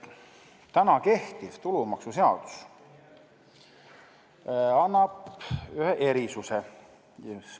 Täna kehtiv tulumaksuseadus annab ühe erisuse.